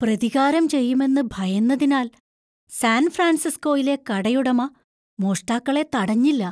പ്രതികാരം ചെയ്യുമെന്ന് ഭയന്നതിനാൽ സാൻ ഫ്രാൻസിസ്കോയിലെ കടയുടമ മോഷ്ടാക്കളെ തടഞ്ഞില്ല.